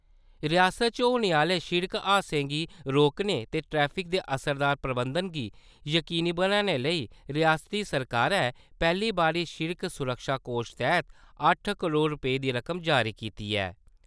रिआसता च होने आह्‌ले सिड़क हादसें गी रोकने ते ट्रैफिक दे असरदार प्रबंधन गी यकीनी बनाने लेई रिआसती सरकारै पैह्‌ली बारी सिड़क सुरक्षा कोश तैह्त अट्ठ करोड़ रपेंऽ दी रकम जारी कीती ऐ।